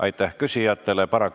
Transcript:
Aitäh küsijatele!